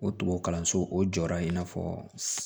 O kalanso o jɔda in n'a fɔ